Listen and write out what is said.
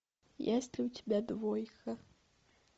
есть ли у тебя двойка